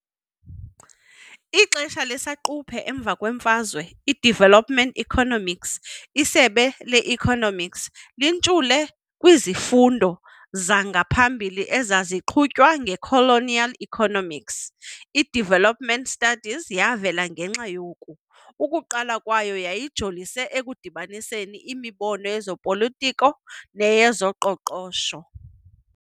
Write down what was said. Ixesha lesaquphe emva kwemfazwe, i-development economics, isebe le-economics, lintshule kwizifundo zangaphambili ezaziqhutywa nge-colonial economics. I-Development studies yavela ngenxa yoku, ukuqala kwayo yayijolise ekudibaniseni imibono ye-zopolitiko neyezoqoqosho.